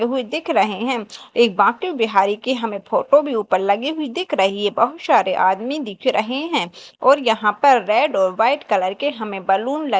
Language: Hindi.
जो वो दिख रहे है एक बाके बिहारी के हमें फोटो भी ऊपर लगी हुई दिख रही है बहुत सारे आदमी दिख रहे है और यहां पर रेड और व्हाइट कलर के हमें बलून ल--